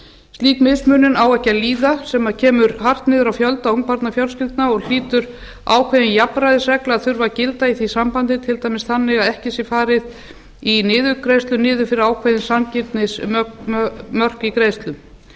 slíka mismunun á ekki að líða sem kemur hart niður á fjölda ungbarnafjölskyldna og hlýtur ákveðin jafnræðisregla að þurfa að gilda í því sambandi til dæmis þannig að ekki sé farið í niðurgreiðslur niður fyrir ákveðin sanngirnismörk í greiðslum